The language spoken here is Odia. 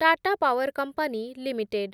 Tata power company limited